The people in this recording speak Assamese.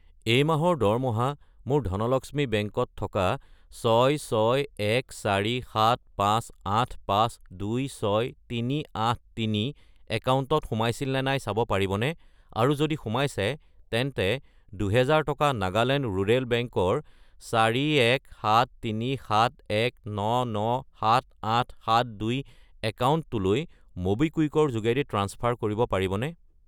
এই মাহৰ দৰমহা মোৰ ধনলক্ষ্মী বেংক ত থকা 6614758526383 একাউণ্টত সোমাইছিল নে নাই চাব পাৰিবনে, আৰু যদি সোমাইছে তেন্তে 2000 টকা নাগালেণ্ড ৰুৰেল বেংক ৰ 417371997872 একাউণ্টটোলৈ ম'বিকুইক ৰ যোগেদি ট্ৰাঞ্চফাৰ কৰিব পাৰিবনে?